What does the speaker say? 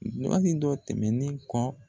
dɔ tɛmɛnen kɔ